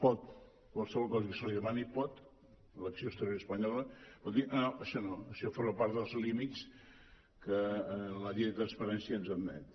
pot qualsevol cosa que se li demani pot l’acció exterior espanyola dir això no això forma part dels límits que la llei de transparència ens admet